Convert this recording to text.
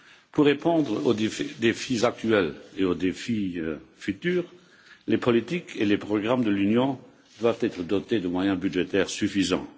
Pour répondre aux défis actuels et futurs, les politiques et les programmes de l'Union doivent être dotés de moyens budgétaires suffisants.